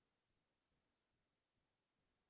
অসীমত যাৰ হেৰাল সীমা